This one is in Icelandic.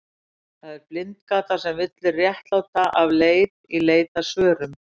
Það er blindgata sem villir réttláta af leið í leit að svörum.